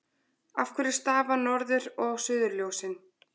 Af hverju stafa norður- og suðurljósin?